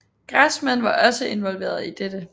Grassmann var også involveret i dette